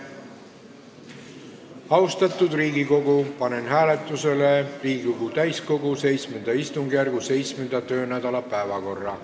Austatud Riigikogu, panen hääletusele Riigikogu VII istungjärgu 7. töönädala päevakorra.